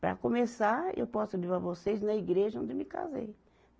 Para começar, eu posso levar vocês na igreja onde eu me casei.